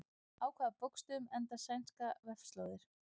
Á hvaða bókstöfum enda sænskar vefslóðir?